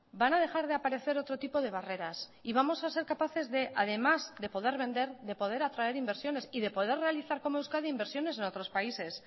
van a dejar de aparecer otro tipo de barreras y vamos a ser capaces de además de poder vender de poder atraer inversiones y de poder realizar como euskadi inversiones en otros países